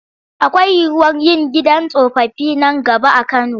Akwai yiwuwar yin gidan tsofaffi nan gaba a Kano.